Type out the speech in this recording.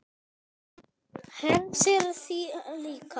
Hersir: Þið líka?